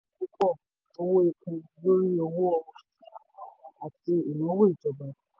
púpọ̀ owó epo lórí owó oṣù àti ìnáwó ìjọba.